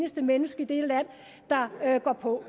eneste menneske i dette land der hopper på